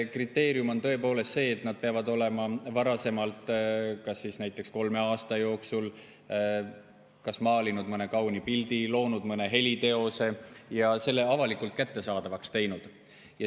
Kriteerium on tõepoolest see, et nad peavad olema varasemalt näiteks kolme aasta jooksul kas maalinud mõne kauni pildi või loonud mõne heliteose ja selle avalikult kättesaadavaks teinud.